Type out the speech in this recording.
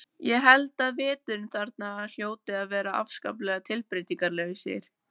Ég held að veturnir þarna hljóti að vera afskaplega tilbreytingarlausir.